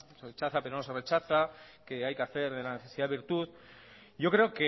rechaza pero no se rechaza que hay que hacer de la necesidad virtud yo creo